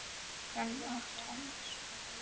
Hrönn og Tómas.